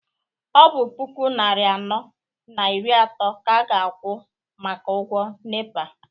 ọ bụ puku nari anọ na iri atọ ka a ga-akwụ maka ụgwọ nepa?